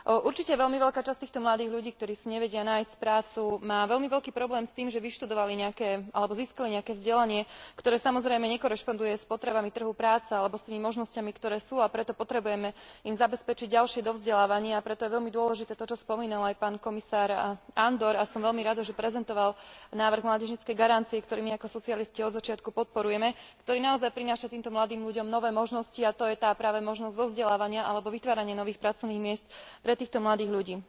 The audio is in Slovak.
Určite veľmi veľká časť týchto mladých ľudí, ktorí si nevedia nájsť prácu, má veľmi veľký problém s tým, že vyštudovali alebo získali nejaké vzdelanie, ktoré samozrejme nekorešponduje s potrebami trhu práce alebo s tými možnosťami, ktoré sú, a preto im potrebujeme zabezpečiť ďalšie dovzdelávanie, a preto je veľmi dôležité to, čo spomínal aj pán komisár Andor, a som veľmi rada, že prezentoval návrh mládežníckej garancie, ktorý my ako socialisti od začiatku podporujeme, ktorý naozaj prináša týmto mladým ľuďom nové možnosti a to je práve tá možnosť dovzdelávania alebo vytvárania nových pracovných miest pre týchto mladých ľudí.